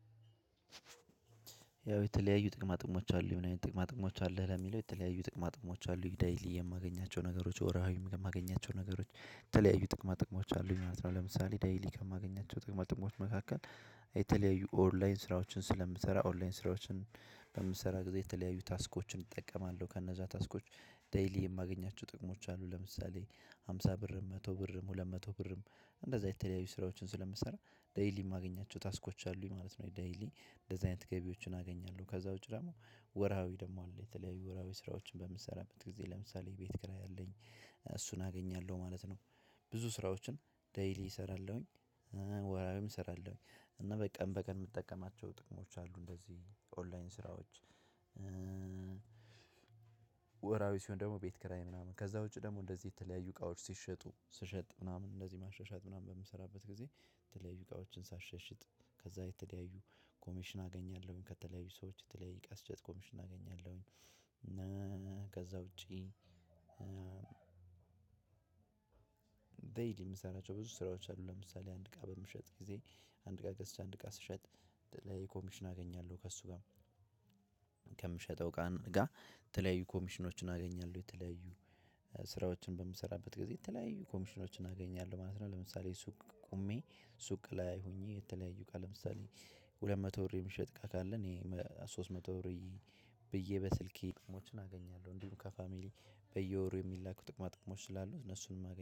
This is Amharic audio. ያው የተለያዩ ጥቅማጥቅሞች አሉ ና ጥቅማጥቅሞች አለ ለሚለው የተለያዩ ጥቅማጥሞች አሉ ዴሊ የማገኛቸው ነገሮች ወርሐዊም የማገኛቸው ነገሮች የተለያዩ ጥቅማ ጥቅሞች አሉ ማለት ነው። ለምሳሌ ዴሊ ከማገኛቸው ጥቅማ ጥቅሞች መካከል የተለያዩ ኦንላይን ስራዎችን ስለምሰራ ኦንላይን በምሰራ ጊዜ የተለያዩ ታስኮችን እጠቀማለሁ ከነዛ ታስኮች ዴሊ የማገኛቸው ጥቅሞች አሉ። ለምሳሌ ሃምሳ ብር መቶ ብር ሁለት መቶ ብርም እንደዛ የተለያዩ ስራዎችን ስለምሰራ ዴሊ የማገኛቸው ታስኮች አሉኝ ማለት ነው። ዴሊ እንደዚህ አይነት ገቢዎችን አገኛለሁ ከዛ ውጪ ደግሞ ወርሃዊ ደግሞ አለ የተለያዩ ወርሃዊ ስራዎችን በምትሰራበት ጊዜ ለምሳሌ ቤት ክራይአለኝ እሱን አገኛለሁ ማለት ነው። ብዙ ስራዎችን ዴሊ እሰራለሁኝ ወርሃዊም እሰራለሁኝ እና በቀን በቀን የምጠቀማቸው ጥቅሞች አሉ እንደዚህ ኦንላይን ስራዎች። ወርሃዊ ሲሆን ደግሞ ቤት ክራይ ምናምን ከዛ ውጪ ደግሞ እንደዚህ የተለያዩ እቃዎች ሲሸጡ ስሸጥ ምናምን እንደዚህ ማሻሻጥ ምናምን በምሰራበት ጊዜ ተለያዩ እቃዎችን ሳሻሽጥ ከዛ የተለያዩ ኮሚሽን አገኛለሁኝ። ከተለያዩ ሰዎች የተለያየ እቃ ኮሚሽን አገኛለሁኝ። ከዛ ውጪ ዴሊ የምሰራቸው ብዙ ስራዎች አሉ። ለምሳሌ አንድ እቃ በምሸጥበት ግዜ አንድ እቃ ገዝተህ አንድ እቃ ስትሸጥ የተለያየ ኮሚሽን አገኛለሁ። ከእሱ ጋር ከምሸጠው ጋር የተለያዩ ኮሚሽኖችን አገኛለሁ የተለያዩ ስራዎችን በምሰራበት ጊዜ የተለያዩ ኮሚሽኖችን አገኛለሁ ማለት ነው። ለምሳሌ ሱቅ ቆሜ ሱቅ ላይ ሆኜ የተለያዩ እቃ ለምሳሌ ሁለት መቶ ብር የምሸጥ እቃ ካለ እኔ ሶስት መቶ ብዬ በስልኬ ጥቅሞችን አገኛለሁ። እንዲሁም ከፋሚሊ በየወሩ የሚላኩ ጥቅማጥቅሞች ስላሉ እነሱንም